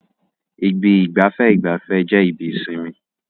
Ibi ìgbafẹ́ ìgbafẹ́ jẹ́ ibi ìsinmi.